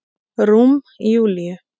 Rúm Júlíu.